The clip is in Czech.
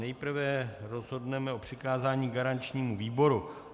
Nejprve rozhodneme o přikázání garančnímu výboru.